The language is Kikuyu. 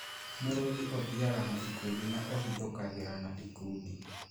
Mũrũthi ũthiaga na ikundi na ũhithũkagĩra na ikundi